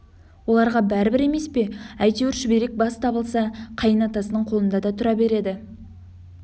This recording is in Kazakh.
оларға бәрібір емес пе әйтеуір шүберек бас табылса қайын атасының қолында да тұра береді